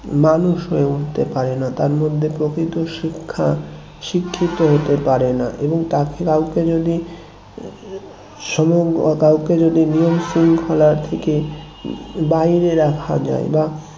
মানুষ হয়ে উঠতে পারে না তার মধ্যে প্রকৃত শিক্ষা শিক্ষিত হতে পারে না এবং তাকে কাউকে যদি সম্ভব ও কাউকে যদি নিয়ম-শৃঙ্খলা থেকে বাহিরে রাখা যায় বা